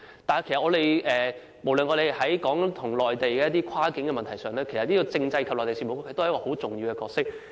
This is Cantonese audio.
但是，我們所談論的是涉及內地的跨境問題，政制及內地事務局也身負重要角色。